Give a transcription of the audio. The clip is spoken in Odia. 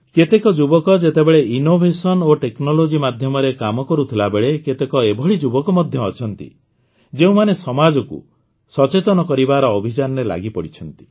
କେତେକ ଯୁବକ ଯେତେବେଳେ ନବୋନ୍ମେଷ ଓ ପ୍ରଯୁକ୍ତି ମାଧ୍ୟମରେ କାମ କରୁଥିବା ବେଳେ କେତେକ ଏଭଳି ଯୁବକ ମଧ୍ୟ ଅଛନ୍ତି ଯେଉଁମାନେ ସମାଜକୁ ସଚେତନ କରିବାର ଅଭିଯାନରେ ଲାଗିପଡ଼ିଛନ୍ତି